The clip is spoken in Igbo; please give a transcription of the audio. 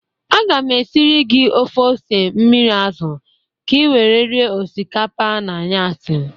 Aga m esiri gị ofe ose mmiri azụ ka i were rie osikapa n'anyasị